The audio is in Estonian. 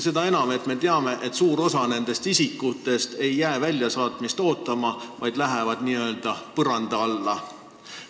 Me ju teame, et suur osa nendest isikutest ei jää väljasaatmist ootama, vaid läheb n-ö põranda alla.